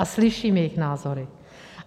A slyším jejich názory.